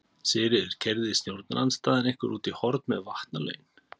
Sigríður: Keyrði stjórnarandstaðan ykkur út í horn með vatnalögin?